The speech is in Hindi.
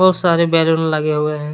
सारे बैलून लगे हुए हैं।